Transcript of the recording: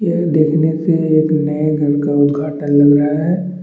ये देखने से नए बैंक का उद्घाटन हो रहा है।